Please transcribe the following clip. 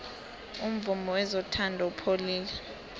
umvumo wezothando upholile